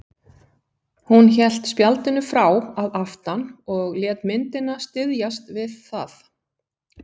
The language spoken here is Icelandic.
Hún hélt spjaldinu frá að aftan og lét myndina styðjast við það.